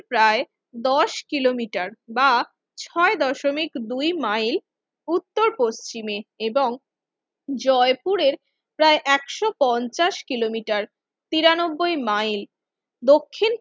প্রায় দশ কিলোমিটার বা ছয় দশমিক দুই মাইল উত্তর পশ্চিমে এবং জয়পুরের প্রায় একশো পঞ্চাশ কিলোমিটার তিরানব্বইয় মাইল দক্ষিন